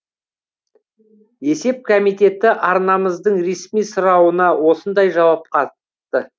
есеп комитеті арнамыздың ресми сұрауына осындай жауап қатты